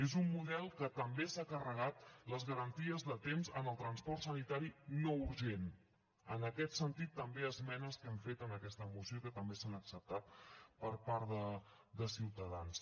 és un model que també s’ha carregat les garanties de temps en el transport sanitari no urgent en aquest sentit també esmenes que hem fet en aquesta moció i que també s’han acceptat per part de ciutadans